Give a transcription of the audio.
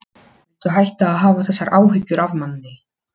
Kristine, viltu hoppa með mér?